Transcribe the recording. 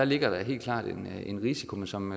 ligger der helt klart en risiko men som